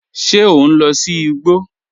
Ṣé ọ n lọ sí ìgbò?